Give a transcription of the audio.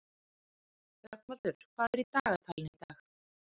Rögnvaldur, hvað er í dagatalinu í dag?